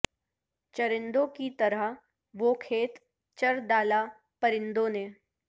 چرندوں کی طرح وہ کھیت چر ڈالا پرندوں نے